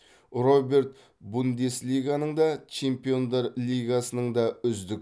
роберт бундеслиганың да чемпиондар лигасының да үздік